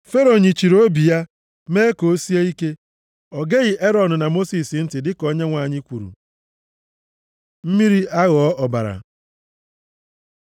Fero nyịchiri obi ya, mee ka o sie ike. O geghị Erọn na Mosis ntị dịka Onyenwe anyị kwuru. Mmiri aghọọ ọbara